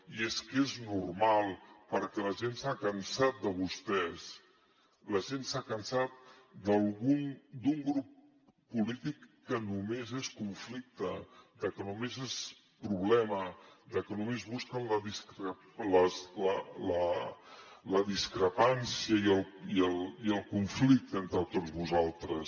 i és que és normal perquè la gent s’ha cansat de vostès la gent s’ha cansat d’un grup polític que només és conflicte de que només és problema de que només busquen la discrepància i el conflicte entre tots vosaltres